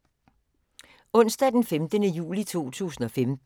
Onsdag d. 15. juli 2015